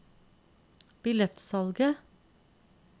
billettsalget